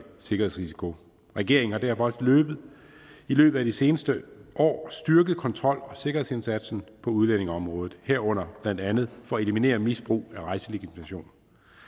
sikkerhedsrisiko regeringen har derfor i løbet af de seneste år styrket kontrol og sikkerhedsindsatsen på udlændingeområdet herunder blandt andet for at eliminere misbrug af rejselegitimation